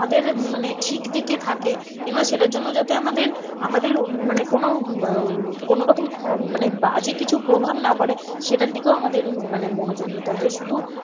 আমাদের মানে ঠিক দিতে থাকে এবং সেটার জন্য যাতে আমাদের, আমাদের উম মানে কোন উম কোনোরকম খম~ মানে বাজে কিছু প্রভাব না পড়ে সেটার দিকেও আমাদের উম মানে মনোযোগ দিতে হয় যে শুধু